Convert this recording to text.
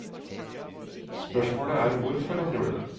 Spørsmålet er hvorfor han gjorde det.